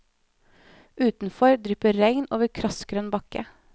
Utenfor drypper regn over krassgrønn bakke.